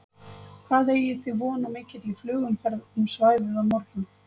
Hvað eigið þið vona á mikilli flugumferð um svæðið á morgun?